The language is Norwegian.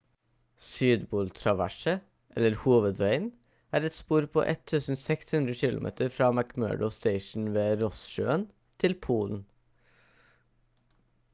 sydpol-traverset eller hovedveien er et spor på 1600 km fra mcmurdo station ved ross-sjøen til polen